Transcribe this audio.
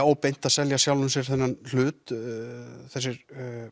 óbeint að selja sjálfum sér þennan hlut þessir